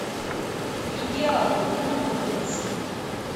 идеал где находится